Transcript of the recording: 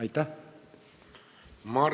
Aitäh!